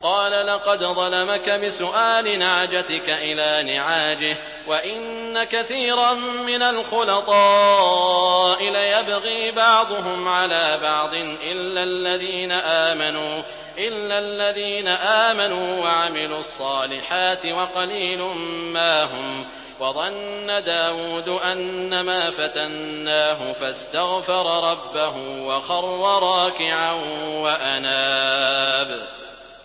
قَالَ لَقَدْ ظَلَمَكَ بِسُؤَالِ نَعْجَتِكَ إِلَىٰ نِعَاجِهِ ۖ وَإِنَّ كَثِيرًا مِّنَ الْخُلَطَاءِ لَيَبْغِي بَعْضُهُمْ عَلَىٰ بَعْضٍ إِلَّا الَّذِينَ آمَنُوا وَعَمِلُوا الصَّالِحَاتِ وَقَلِيلٌ مَّا هُمْ ۗ وَظَنَّ دَاوُودُ أَنَّمَا فَتَنَّاهُ فَاسْتَغْفَرَ رَبَّهُ وَخَرَّ رَاكِعًا وَأَنَابَ ۩